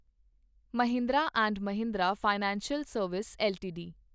Mahindra and Mahindra financial service LTD